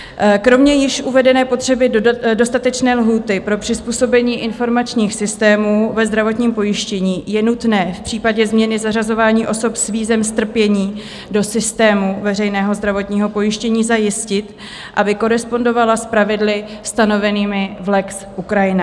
Kromě již uvedené potřeby dostatečné lhůty pro přizpůsobení informačních systémů ve zdravotním pojištění je nutné v případě změny zařazování osob s vízem strpění do systému veřejného zdravotního pojištění zajistit, aby korespondovala s pravidly stanovenými v lex Ukrajina.